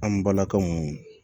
An balakaw